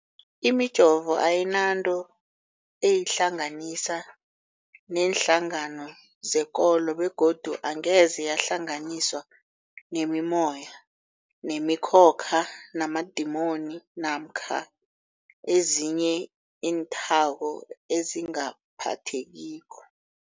Imijovo ayinanto eyihlanganisa neenhlangano zekolo begodu angeze yahlanganiswa nemimoya, nemi khokha, namadimoni namkha ezinye iinthako ezingaphathekiko.